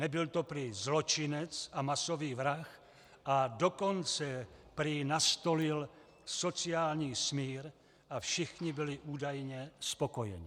Nebyl to prý zločinec a masový vrah, a dokonce prý nastolil sociální smír a všichni byli údajně spokojeni.